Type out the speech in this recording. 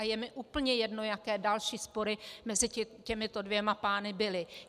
A je mi úplně jedno, jaké další spory mezi těmito dvěma pány byly.